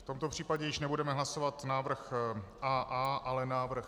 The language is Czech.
V tomto případě již nebudeme hlasovat návrh AA, ale návrh...